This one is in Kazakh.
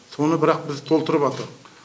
соны бірақ біз толтырыбатырық